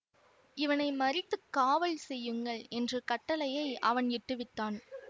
இவனை மறித்துக் காவல் செய்யுங்கள் என்ற கட்டளையை அவன் இட்டுவிட்டான்